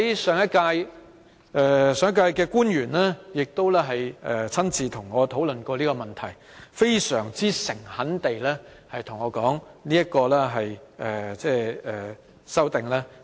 上屆政府的官員亦親自和我討論過這個問題，他們非常誠懇地對我說，希望《條例草案》盡早通過。